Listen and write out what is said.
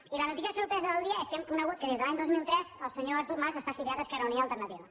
i la notícia sorpresa del dia és que hem conegut que des de l’any dos mil tres el senyor artur mas està afiliat a esquerra unida i alternativa